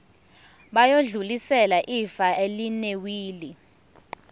bayodlulisela ifa elinewili